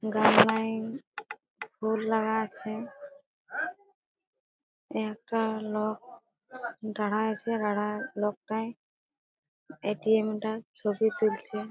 ফুল লাগা আছে একটা লোক দাঁড়ায়ে আছে দাঁড়ায় লোকটায় এ.টি.এম টার ছবি তুলছে।